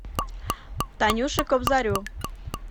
танюше кобзарю